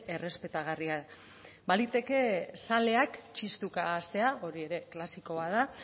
errespetagarria baliteke zaleak txistuka hastea hori ere klasikoa da